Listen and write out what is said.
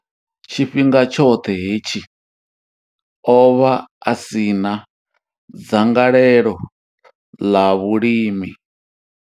Tshifhinga tshoṱhe hetshi, o vha a si na dzangalelo ḽa vhulimi.